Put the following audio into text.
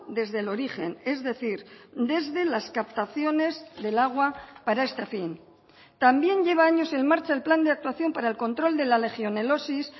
desde el origen es decir desde las captaciones del agua para este fin también lleva años en marcha el plan de actuación para el control de la legionelosis